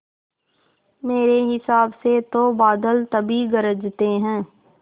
मेरे हिसाब से तो बादल तभी गरजते हैं